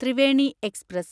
Triveni express